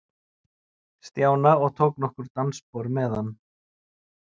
Stjána og tók nokkur dansspor með hann.